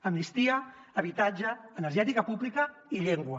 amnistia habitatge energètica pública i llengua